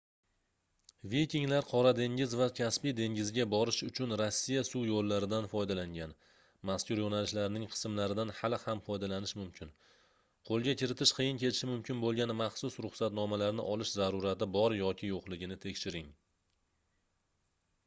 vikinglar qora dengiz va kaspiy dengiziga borish uchun rossiya suv yoʻllaridan foydalangan mazkur yoʻnalishlarning qismlaridan hali ham foydalanish mumkin qoʻlga kiritish qiyin kechishi mumkin boʻlgan maxsus ruxsatnomalarni olish zarurati bor yoki yoʻqligini tekshiring